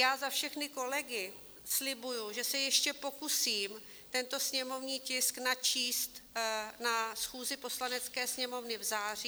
Já za všechny kolegy slibuji, že se ještě pokusím tento sněmovní tisk načíst na schůzi Poslanecké sněmovny v září.